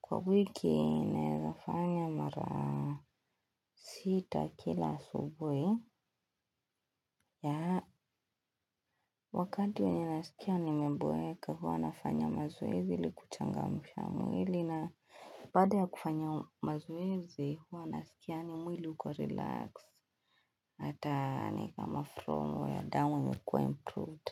Kwa wiki, naezafanya mara sita kila asubui. Ya, wakati wenye nasikia ni meboeka huwa nafanya mazoezi. Hili kuchangamu ya mwili na bada ya kufanya mazoezi huwa nasikiani mwili uko relax hata ni kama front wire down imekuwa improved.